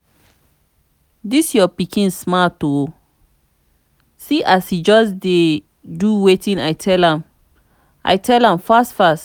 dis your pikin smart oo see as he just dey do wetin i tell am i tell am fast fast